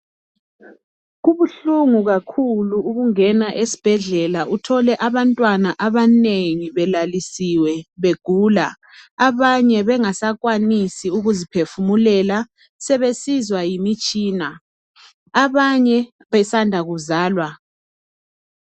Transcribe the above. Kubuhlungu kakhulu ukungena esibhedlela uthole abantwana abanengi belalisiwe begula, abanye bengasakwanisi ukuziphefumulela sebesizwa yimitshina abanye besanda kuzalwa.